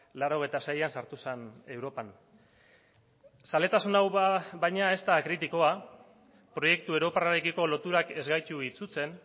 laurogeita seian sartu zen europan zaletasun hau baina ez da kritikoa proiektu europarrarekiko loturak ez gaitu itsutzen